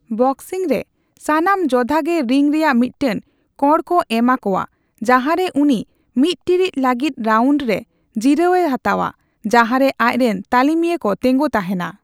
Boxing ᱨᱮ, ᱥᱟᱱᱟᱢ ᱡᱚᱫᱷᱟ ᱜᱮ ᱨᱤᱝ ᱨᱮᱭᱟᱜ ᱢᱤᱫᱴᱟᱝ ᱠᱚᱬ ᱠᱚ ᱮᱢᱟ ᱠᱚᱣᱟ ᱡᱟᱦᱟᱸ ᱨᱮ ᱩᱱᱤ ᱢᱤᱛ ᱴᱤᱲᱤᱡ ᱞᱟᱹᱜᱤᱫ ᱨᱟᱣᱩᱱᱰ ᱨᱮ ᱡᱤᱨᱟᱹᱣᱮ ᱦᱟᱛᱟᱣᱟ, ᱡᱟᱦᱟᱸ ᱨᱮ ᱟᱡᱨᱮᱱ ᱛᱟᱹᱞᱤᱢᱤᱭᱟᱹ ᱠᱚ ᱛᱮᱸᱜᱳ ᱛᱟᱦᱮᱱᱟ ᱾